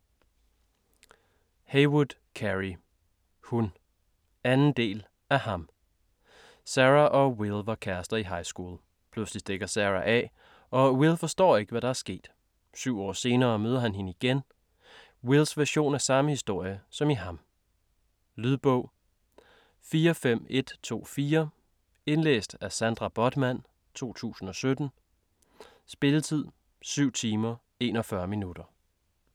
Heywood, Carey: Hun 2. del af Ham. Sarah og Will var kærester i highschool. Pludselig stikker Sarah af og Will forstår ikke, hvad der er sket. 7 år senere møder han hende igen. Wills version af samme historie som i "Ham". Lydbog 45124 Indlæst af Sandra Bothmann, 2017. Spilletid: 7 timer, 41 minutter.